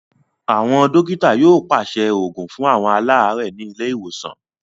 Àwọn dọ́kítá yóò pàṣẹ òògùn fún àwọn aláàárẹ̀ ní ilé ìwòsàn.